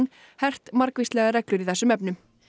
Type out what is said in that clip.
hert margvíslegar reglur í þessum efnum